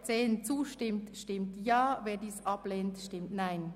Wer diesem zustimmt, stimmt Ja, wer ihn ablehnt, stimmt Nein.